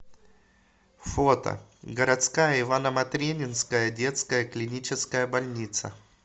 фото городская ивано матренинская детская клиническая больница